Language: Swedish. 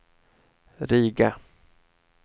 Riga